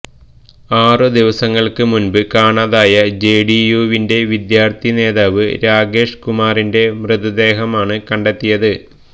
ആറ് ദിവസങ്ങള്ക്ക് മുന്പ് കാണാതായ ജെഡിയുവിന്റെ വിദ്യാര്ത്ഥി നേതാവ് രാകേഷ് കുമാറിന്റെ മൃതദേഹമാണ് കണ്ടെത്തിയത്